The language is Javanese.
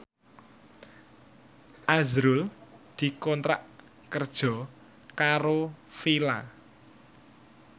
azrul dikontrak kerja karo Fila